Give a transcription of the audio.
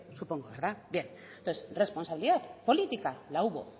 supongo verdad bien entonces responsabilidad política la hubo